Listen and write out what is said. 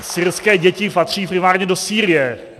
Syrské děti patří primárně do Sýrie.